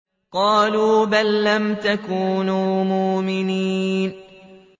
قَالُوا بَل لَّمْ تَكُونُوا مُؤْمِنِينَ